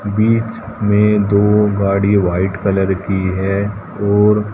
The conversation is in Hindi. बीच में दो गाड़ी वाइट कलर की है और--